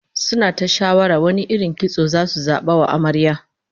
Suna ta shawara wane irin kitso zasu zaba wa Amaryar